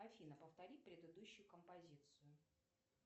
афина повтори предыдущую композицию